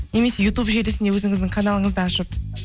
немесе ютуб желісінде өзіңіздің каналыңызды ашып